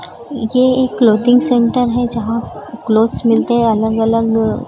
ये एक clothing centre है जहां क्लॉथस मिलते हैं अलग अलग--